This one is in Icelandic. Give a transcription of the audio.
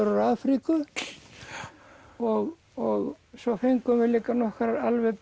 úr Afríku og og svo fengum við líka nokkrar alveg